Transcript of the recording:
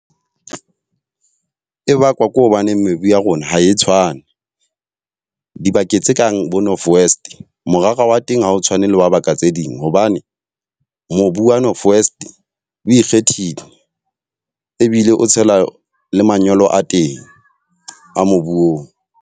E bakwa ke hobaneng mebu ya rona ha e tshwane. Dibakeng tse kang bo North West, morara wa teng ha o tshwane le wa baka tse ding. Hobane mobu wa North West o ikgethile ebile o tshela le manyolo a teng a mobu oo.